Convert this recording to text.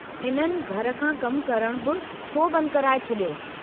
इन्हनि घर खां कमु करणु बि छो बंदि कराए छडि॒यो?